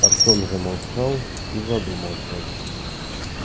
артём замолчал и задумался